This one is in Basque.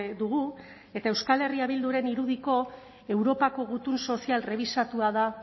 dugu eta euskal herria bilduren irudiko europako gutun sozial rebisatua da